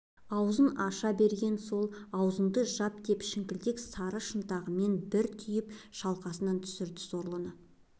аузын аша берген сол аузыңды жап деп шіңкілдек сары шынтағымен бір түйіп шалқасынан түсірді сорлыны